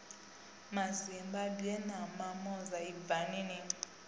mazimbabwe na mamoza ibvani ni